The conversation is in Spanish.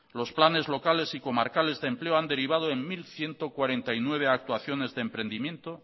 los planes locales y comarcales de empleo han derivado en mil ciento cuarenta y nueve actuaciones de emprendimiento